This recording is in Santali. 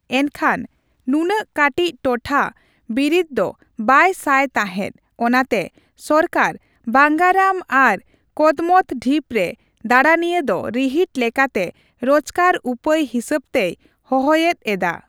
ᱮᱱᱠᱷᱟᱱ ᱱᱩᱱᱟᱹᱜ ᱠᱟᱹᱴᱤᱡ ᱴᱚᱴᱷᱟ ᱵᱤᱨᱤᱫ ᱫᱚ ᱵᱟᱭ ᱥᱟᱭ ᱛᱟᱦᱮᱸᱫ, ᱚᱱᱟᱛᱮ ᱥᱚᱨᱠᱟᱨ ᱵᱟᱝᱜᱟᱨᱟᱢ ᱟᱨ ᱠᱚᱫᱢᱚᱛ ᱰᱷᱤᱯ ᱨᱮ ᱫᱟᱲᱟᱱᱤᱭᱟᱹ ᱫᱚ ᱨᱤᱦᱤᱴ ᱞᱮᱠᱟᱛᱮ ᱨᱳᱪᱠᱟᱨ ᱩᱯᱟᱹᱭ ᱦᱤᱥᱟᱹᱵᱛᱮᱭ ᱦᱚᱦᱚᱭᱮᱫ ᱮᱫᱟ ᱾